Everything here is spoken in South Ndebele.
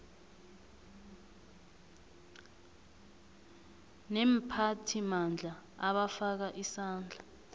neemphathimandla abafaka isandla